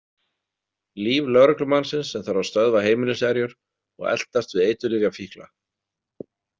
Líf lögreglumannsins sem þarf að stöðva heimiliserjur og eltast við eiturlyfjafíkla.